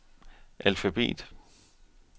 alfabet